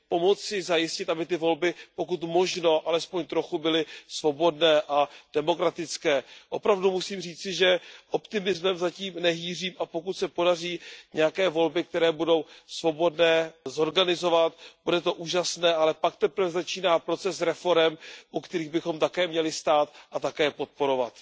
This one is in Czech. Pomoci zajistit, aby ty volby pokud možno alespoň trochu byly svobodné a demokratické. Opravdu musím říci, že optimismem zatím nehýřím a pokud se podaří nějaké volby, které budou svobodné, zorganizovat, bude to úžasné, ale pak teprve začíná proces reforem, u kterých bychom také měli stát a také je podporovat.